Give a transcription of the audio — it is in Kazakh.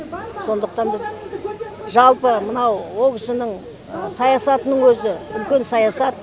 сондықтан біз жалпы мынау ол кісінің саясатының өзі үлкен саясат